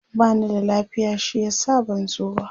bani da lafiya shi yasa ban zo ba